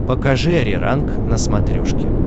покажи ариранг на смотрешке